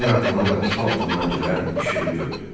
Qoryo atanın qapısı altından gələn işığı gördü.